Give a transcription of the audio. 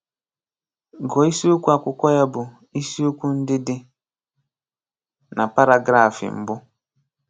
Gụọ isiokwu akwụkwọ ya bụ isiokwu ndị dị na paragrafị mbụ.